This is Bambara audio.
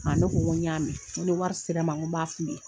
A ne ko n y'a mɛn ne ni wari sera n ma n ko n b'a f'u ye